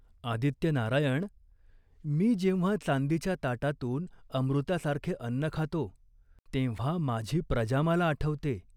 आदित्यनारायण, मी जेव्हा चांदीच्या ताटातून अमृतासारखे अन्न खातो, तेव्हा माझी प्रजा मला आठवते.